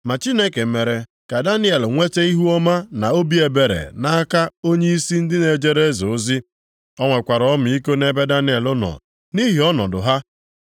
Ma Chineke mere ka Daniel nweta ihuọma na obi ebere nʼaka onyeisi ndị na-ejere eze ozi. O nwekwara ọmịiko nʼebe Daniel nọ nʼihi ọnọdụ ha.